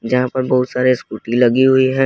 यहां पर बहुत सारे स्कूटी लगी हुई है।